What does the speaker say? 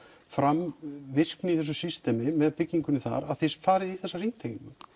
fram virkni í þessu systemi með byggingunni þar að þið farið í þessa hringtengingu